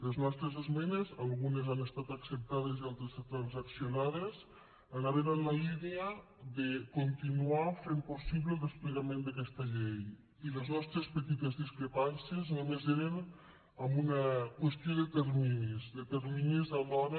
les nostres esmenes algunes han estat acceptades i altres transaccionades anaven en la línia de continuar fent possible el desplegament d’aquesta llei i les nostres petites discrepàncies només eren en una qüestió de terminis de terminis a l’hora